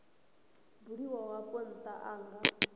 buliwaho afho ntha a nga